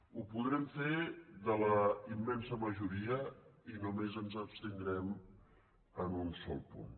ho podrem fer de la immensa majoria i només ens abstindrem en un sol punt